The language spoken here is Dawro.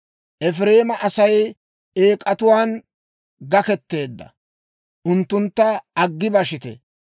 Efireema Asay eek'atuwaan gakketeedda; unttuntta aggi bashite.